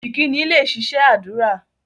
Ìkíni lẹ ṣiṣẹ́ ádùrá